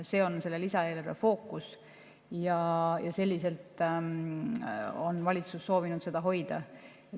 See on selle lisaeelarve fookus ja selliselt on valitsus soovinud seda hoida.